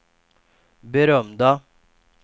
berömda